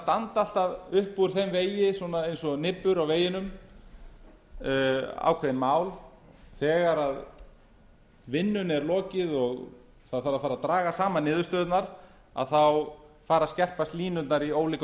standa alltaf upp úr þeim vegi eins og nibbur á veginum ákveðin mál þegar vinnunni er lokið og það þarf að fara draga saman niðurstöðurnar þá fara að skerpast línurnar í ólíkum